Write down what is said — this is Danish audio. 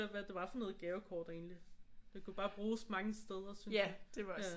Det var for noget gavekort egentlig det kunne bare bruges mange steder syntes jeg